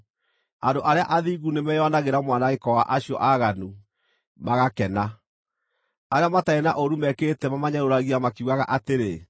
“Andũ arĩa athingu nĩmeyonagĩra mwanangĩko wa acio aaganu, magakena; arĩa matarĩ na ũũru mekĩte mamanyũrũragia makiugaga atĩrĩ: